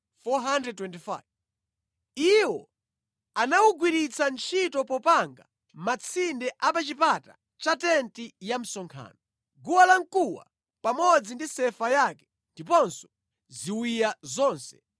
Iwo anawugwiritsa ntchito popanga matsinde a pa chipata cha tenti ya msonkhano, guwa la mkuwa pamodzi ndi sefa yake ndiponso ziwiya zonse,